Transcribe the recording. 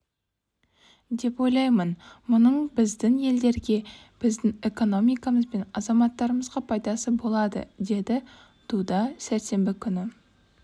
деп ойлаймын мұның біздің елдерге біздің экономикамыз бен азаматтарымызға пайдасы болады деді дуда сәрсенбі күні